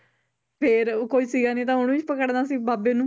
ਫਿਰ ਉਹ ਕੋਈ ਸੀਗਾ ਨੀ ਤਾਂ ਉਹਨੂੰ ਹੀ ਪਕੜਨਾ ਸੀ ਬਾਬੇ ਨੂੰ